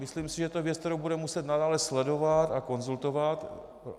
Myslím si, že je to věc, kterou budeme muset nadále sledovat a konzultovat.